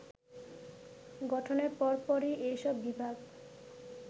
গঠনের পরপরই এসব বিভাগ